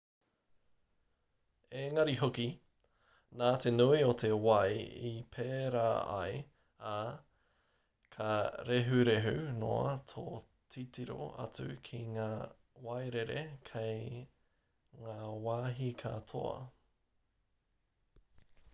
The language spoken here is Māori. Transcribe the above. engari hoki nā te nui o te wai i pērā ai ā ka rehurehu noa tō titiro atu ki ngā wairere kei ngā wāhi katoa